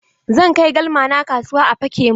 Zan kai galmana kasuwa a feƙe min